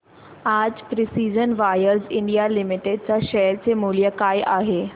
आज precision wires India limited च्या share चे मूल्य काय आहे